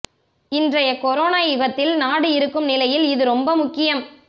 இன்றைய கொரோனா யுகத்தில் நாடு இருக்கும் நிலையில் இது ரொம்ப முக்கியம்